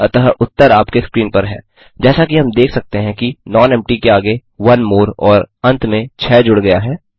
अतः उत्तर आपके स्क्रीन पर है जैसा कि हम देख सकते हैं कि नॉनेम्पटी के आगे ओनेमोर और अंत में 6 जुड़ गया है